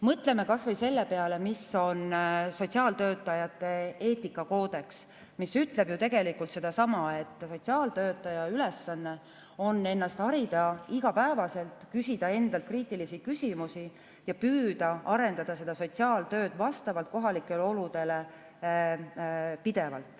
Mõtleme kas või sotsiaaltöötajate eetikakoodeksi peale, mis ütleb sedasama, et sotsiaaltöötaja ülesanne on ennast igapäevaselt harida, küsida endalt kriitilisi küsimusi ja püüda pidevalt arendada sotsiaaltööd vastavalt kohalikele oludele.